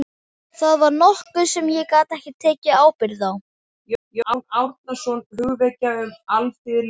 Það var nokkuð sem ég gat ekki tekið ábyrgð á.